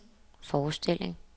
forestilling